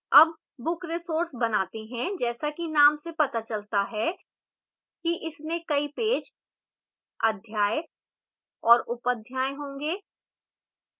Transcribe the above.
अब book resource बनाते हैं जैसा कि name से पता चलता है कि इसमें कई पेज अध्याय और उपअध्याय होंगे